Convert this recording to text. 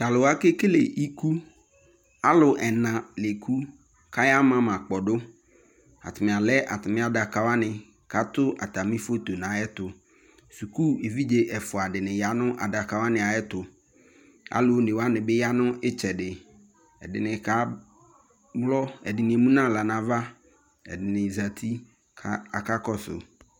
Ta lu wa ke kele ikuAlu ɛna le ku ka yaa ma ma kpɔdoAtame alɛ atame adaka wane ko ato atame foto no ayetoSuku evldze ɛfua de ne ya no adaka wane ayeto ko alu one wane be ya no itsɛde Ɛdene ka wlɔ Ɛdene emu no ahla no ava kɛ ɛdene zati kaka kɔso